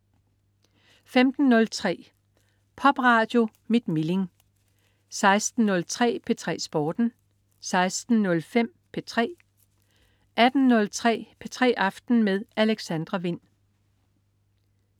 15.03 Popradio mit Milling 16.03 P3 Sporten 16.05 P3 18.03 P3 aften med Alexandra Wind